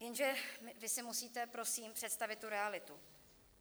Jenže vy si musíte prosím představit tu realitu.